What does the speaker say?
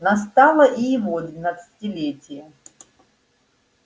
настало и его двенадцатилетие